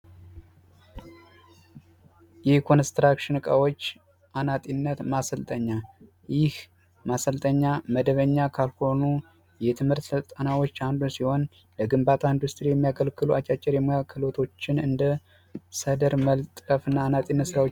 የኮንስትራክሽን እቃዎች አናጢነት ማሰልጠኛ ይህ ማሰልጠኛ መደበኛ ከሆኑ የትምህርት ክፍሎች አንዱ ሲሆን ለግንባታ ኢንዱስትሪ የሚያገለግሉ አጫጭር የሙያ ክህሎቶችን እንደ ሰደር መለጠፍ ያሉ ስራዎች ናቸው።